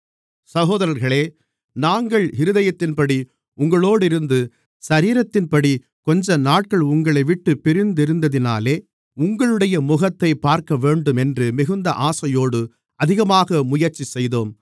சகோதரர்களே நாங்கள் இருதயத்தின்படி உங்களோடிருந்து சரீரத்தின்படி கொஞ்சநாட்கள் உங்களைவிட்டுப் பிரிந்திருந்ததினாலே உங்களுடைய முகத்தைப் பார்க்கவேண்டுமென்று மிகுந்த ஆசையோடு அதிகமாக முயற்சி செய்தோம்